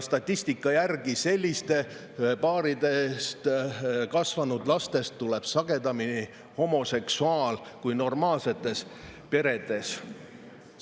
Statistika järgi sellistes kasvanud lastest tuleb sagedamini homoseksuaale kui normaalsetes peredes.